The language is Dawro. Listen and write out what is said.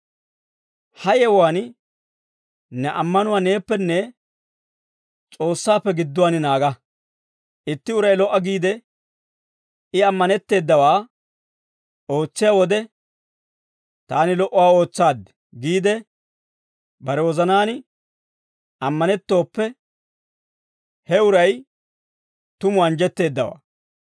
Ha yewuwaan ne ammanuwaa neeppenne S'oossaappe gidduwaan naaga. Itti uray lo"a giide I ammanetteedawaa ootsiyaa wode, «Taani lo"uwaa ootsaad» giide bare wozanaan ammanettooppe, he uray tumu anjjetteeddawaa.